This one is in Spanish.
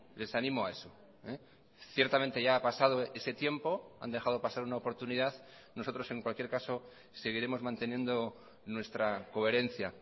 les animo a eso ciertamente ya ha pasado ese tiempo han dejado pasar una oportunidad nosotros en cualquier caso seguiremos manteniendo nuestra coherencia